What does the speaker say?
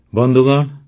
ବନ୍ଧୁଗଣ